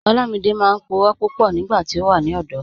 Olamídẹ máa n púrọ̀ púpọ̀ nígbàtí ó wà ní ọ̀dọ̀.